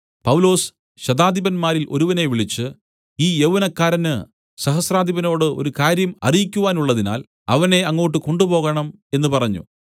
പൗലൊസ് ശതാധിപന്മാരിൽ ഒരുവനെ വിളിച്ച് ഈ യൗവനക്കാരന് സഹസ്രാധിപനോട് ഒരു കാര്യം അറിയിക്കുവാനുള്ളതിനാൽ അവനെ അങ്ങോട്ട് കൊണ്ടുപോകണം എന്ന പറഞ്ഞു